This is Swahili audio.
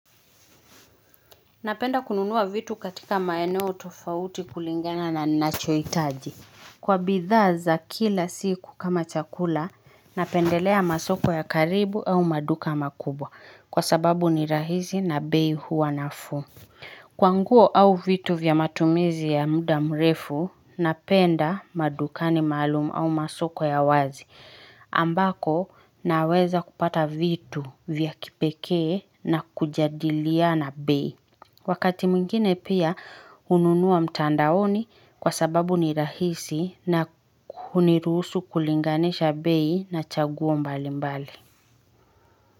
Napenda kununua vitu katika maeneo tofauti kulingana na ninachohitaji. Kwa bidhaa za kila siku kama chakula, napendelea masoko ya karibu au maduka makubwa kwa sababu ni rahisi na bei huwa nafuu. Kwa nguo au vitu vya matumizi ya muda mrefu, napenda madukani maalum au masoko ya wazi ambako naweza kupata vitu vya kipekee na kujadilia na bei. Wakati mwingine pia ununua mtandaoni kwa sababu ni rahisi na kunirusu kulinganisha bei na chaguo mbali mbali.